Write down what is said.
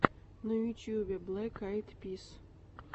на ютьюбе блэк айд пис